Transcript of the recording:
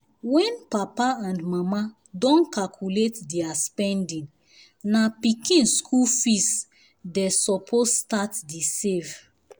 wen papa and mama don calculate their spendingna pikin skul fees dey suppose start the save